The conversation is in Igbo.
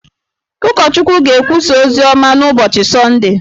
Ụkọchukwu ga-ekwusa oziọma n’ụbọchị Sọndee